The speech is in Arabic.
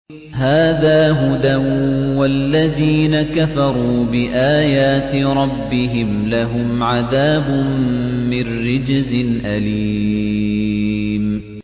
هَٰذَا هُدًى ۖ وَالَّذِينَ كَفَرُوا بِآيَاتِ رَبِّهِمْ لَهُمْ عَذَابٌ مِّن رِّجْزٍ أَلِيمٌ